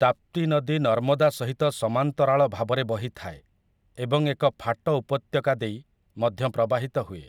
ତାପ୍ତି ନଦୀ ନର୍ମଦା ସହିତ ସମାନ୍ତରାଳ ଭାବରେ ବହିଥାଏ ଏବଂ ଏକ ଫାଟ ଉପତ୍ୟକା ଦେଇ ମଧ୍ୟ ପ୍ରବାହିତ ହୁଏ ।